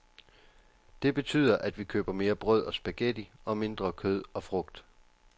Det betyder, at vi køber mere brød og spaghetti og mindre kød og frugt.